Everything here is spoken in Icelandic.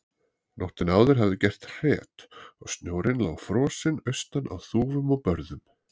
Nóttina áður hafði gert hret og snjórinn lá frosinn austan á þúfum og börðum.